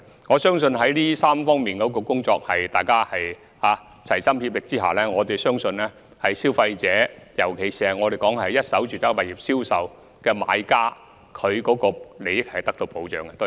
我相信在大家齊心協力推動這3方面的工作之下，消費者，尤其是一手住宅物業銷售的買家的利益是會得到保障的。